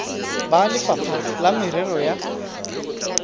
ba lefapha la merero ya